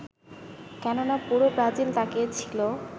কেননা পুরো ব্রাজিল তাকিয়েছিল